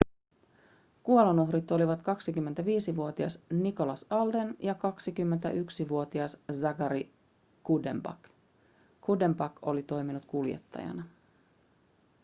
kuolonuhrit olivat 25-vuotias nicholas alden ja 21-vuotias zachary cuddeback cuddeback oli toiminut kuljettajana